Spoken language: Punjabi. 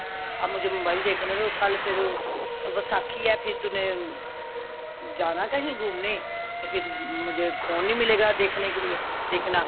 ਅਭ ਮੁਜੇ mobile ਦੇਖਣੇ ਦੋ ਕਲ ਫੇਰ ਵਸਾਖ਼ੀ ਹੈ ਫਿਰ ਤੂਨੇ ਜਾਣਾ ਕਹੀ ਗੁਮਣੇ ਤੋਂ ਮੁਜੇ phone ਨਹੀਂ ਮਿਲੇਗਾ ਦੇਖਣੇ ਕੇ ਲੀਏ ਦੇਖਣਾ